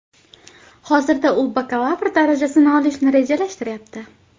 Hozirda u bakalavr darajasini olishni rejalashtiryapti.